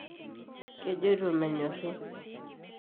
kejoito menyorri